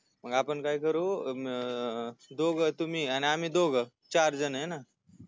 मग आपण काय करू अं दोघ तुम्ही या आणि आम्ही दोघ चार जण हाय ना